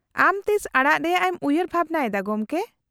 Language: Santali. -ᱟᱢ ᱛᱤᱥ ᱟᱲᱟᱜ ᱨᱮᱭᱟᱜ ᱮᱢ ᱩᱭᱦᱟᱹᱨ ᱵᱷᱟᱵᱱᱟ ᱮᱫᱟ ᱜᱚᱢᱠᱮ ?